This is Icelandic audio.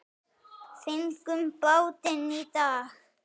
Fengum bátinn í dag.